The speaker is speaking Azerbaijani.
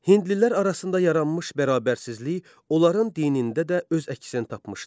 Hindlilər arasında yaranmış bərabərsizlik onların dinində də öz əksini tapmışdı.